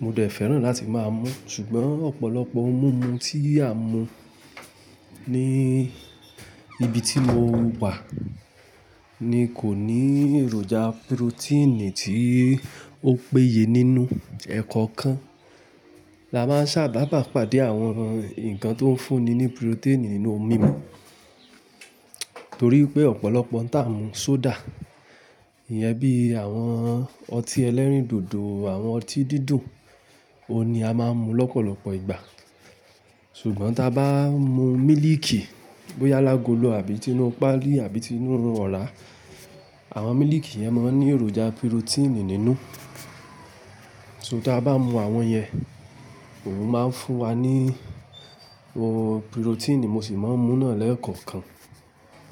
mo dẹ̀ fẹ́ràn láti máa mu. Ṣùgbọ́n ọ̀pọ̀lọpọ̀ ohun mímu tí à ń mu ní ibi tí mo wà ni kò ní èròjà pirotíìnì tí ó péye nínú, ẹ́kọ̀ọ̀kan. La máa ń sábà bá pàdé àwọn ǹkan tó ń fúnni ní pirotíìnì nínú ohun mímu, torí pé ọ̀pọ̀lọpọ̀ n ta mú soda, ìyẹ́n bí àwọn ọtí ẹlẹ́rìndòdò, àwọn ọtí dídùn, òun ni a máa ń mu lọ́pọ̀lọpọ̀ ìgbà. Ṣùgbọ́n ta bá mu mílíìkì, bóyá lágolo àbí tinu páálí àbí tinu ọ̀rá, àwọn mílíìkì yẹn máa ń ní èròjà pirotíìnì nínú. So tí a bá mu àwọn yẹn, òun máa ń fún wa ní pirotíìnì mo ṣì máa ń mú náà lẹ́ẹ̀kọ̀kan.